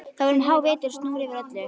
Það var um hávetur og snjór yfir öllu.